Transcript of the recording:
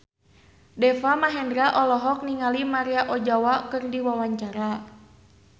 Deva Mahendra olohok ningali Maria Ozawa keur diwawancara